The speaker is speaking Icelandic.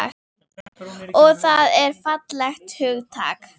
Og það er fallegt hugtak.